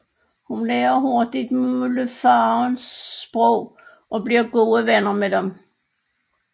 Hun lærer hurtigt mulefaernes sprog og bliver gode venner med dem